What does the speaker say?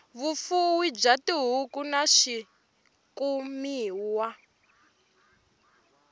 vufuwi bya tihuku na swikumiwa